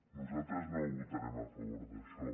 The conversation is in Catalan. nosaltres no votarem a favor d’això